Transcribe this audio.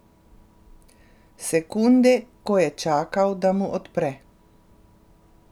Sekunde, ko je čakal, da mu odpre.